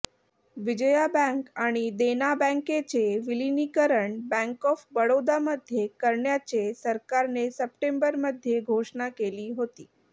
Vijaya bank आणि देना बँकेचे विलिनीकरण बँक ऑफ बडोदामध्ये करण्याचे सरकारने सप्टेंबरमध्ये घोषणा केली होती